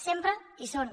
sempre hi són